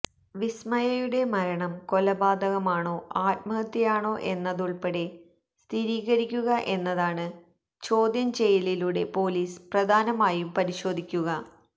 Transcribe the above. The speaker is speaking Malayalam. വിസ്മയയുടെ മരണം കൊലപാതകമാണോ ആത്മഹത്യയാണൊ എന്നതുള്പ്പെടെ സ്ഥിരീകരിക്കുക എന്നതാണ് ചോദ്യം ചെയ്യലിലൂടെ പൊലീസ് പ്രധാനമായും പരിശോധിക്കുക